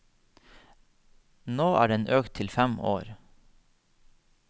Nå er den økt til fem år.